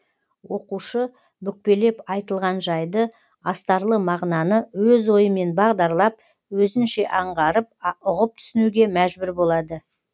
оқушы бүкпелеп айтылған жайды астарлы мағынаны өз ойымен бағдарлап өзінше аңғарып ұғып тұсінуге мәжбүр болады